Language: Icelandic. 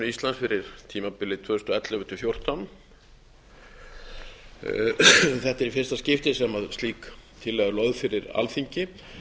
íslands fyrir tímabilið tvö þúsund og ellefu tvö þúsund og fjórtán þetta er í fyrsta skipti sem slík tillaga er lögð fyrir alþingi